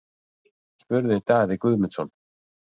spurði Daði Guðmundsson.